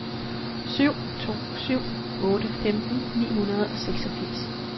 syv to syv otte femten ni hundrede og seksogfirs